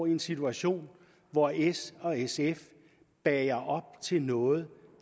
en situation hvor s og sf bager op til noget